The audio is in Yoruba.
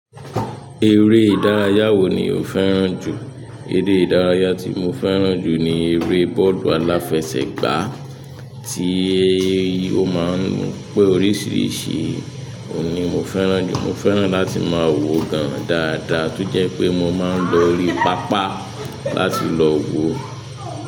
Eré ìdárayá wo ni o fẹ́ràn jù? Eré ìdárayá tí mo fẹ́ràn jù ni eré bọ́ọ̀lù aláfẹsẹ̀gbá, tí ó máa ń mú pé oríṣiríṣi, òun ni mo fẹ́ràn jù. Mo fẹ́ràn láti máa wòó gan-an dáadáa, tó jẹ́ pé mo máa ń lọ orí pápá láti lọ wòó.